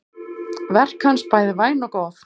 Verk hans bæði væn og góð.